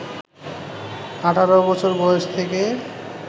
১৮ বছর বয়স থেকে